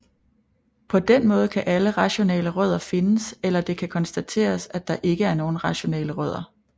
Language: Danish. På den måde kan alle rationale rødder findes eller det kan konstateres at der ikke er nogen rationale rødder